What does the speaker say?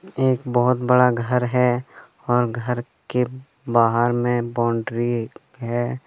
एक बहोत बड़ा घर है और घर के बाहर में बाउंड्री है।